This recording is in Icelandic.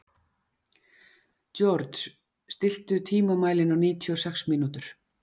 George, stilltu tímamælinn á níutíu og sex mínútur.